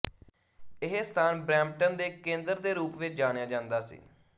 ਇਹ ਸਥਾਨ ਬਰੈਂਪਟਨ ਦੇ ਕੇਂਦਰ ਦੇ ਰੂਪ ਵਿੱਚ ਜਾਣਿਆ ਜਾਂਦਾ ਸੀ